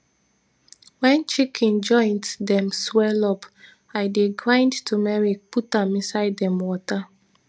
wen chicken joint dem swell up i dey grind tumeric put am inside dem water